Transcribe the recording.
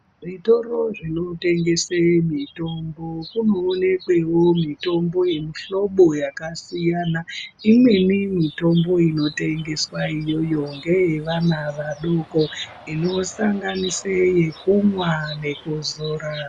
Zvitoro zvinotengesa mitombo kunoonekwawo mitombo yemuhlobo wakasiyana imweni mitombo inotengeswa iyoyo ngeye vana vadoko inosanganisira yekumwa nekuzora.